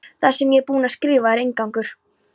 Það sem ég er búin að skrifa er inngangur.